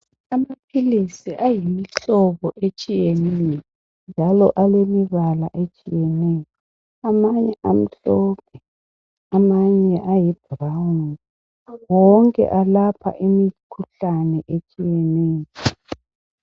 Amaphilisis ayimihlobo etshiyeneyo njalo alemibala etshiyeneyo amanye amhlophe amanye ayi brown wonke alapha imikhuhlani etshiyeneyo.